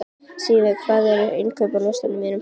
Sívar, hvað er á innkaupalistanum mínum?